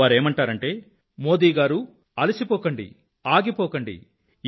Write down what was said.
వారేమంటారంటే మోదీ గారూ అలసిపోకండి ఆగిపోకండి